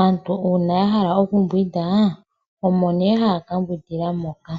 aantu uuna ya hala okumbwinda ohaya mbwindi nduno muundama mboka.